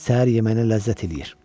Səhər yeməyinə ləzzət eləyir.